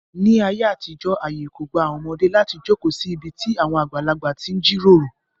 Ní ayé àtijọ́ àyè kò gba àwọn ọmọdé láti jókòó sí ibi tí àwọn àgbàlagbà ti ń jíròrò.